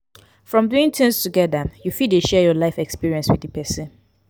from doing things together you fit de share your life experience with di persin